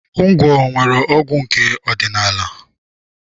Ngwọ nwere ọgwụ nke ọdịnaala.